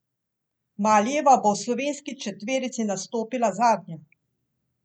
Malijeva bo v slovenski četverici nastopila zadnja.